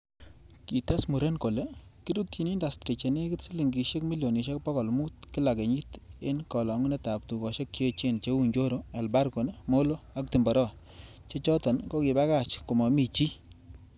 Kites muren kole, kirutyi indastri chenekit silingisiek milionisiek bogol mut kila kenyit en kolongunetab tugosiek che echen cheu Njoro, Elbargon, Molo ak Timboroa, che choton kokibakach komomi chii.